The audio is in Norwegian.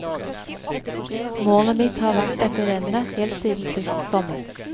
Målet mitt har vært dette rennet, helt siden sist sommer.